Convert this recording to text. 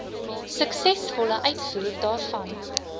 suksesvolle uitvoer daarvan